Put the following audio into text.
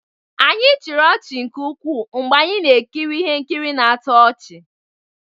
Anyị chịrị ọchị nke ukwuu mgbe anyị na-ekiri ihe nkiri na-atọ ọchị.